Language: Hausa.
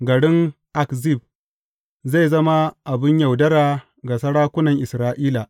Garin Akzib zai zama abin yaudara ga sarakunan Isra’ila.